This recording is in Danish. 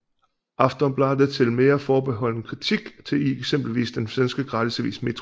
Aftonbladet til mere forbeholden kritik i eksempelvis den svenske gratisavis Metro